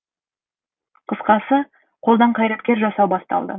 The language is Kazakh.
қысқасы қолдан қайраткер жасау басталды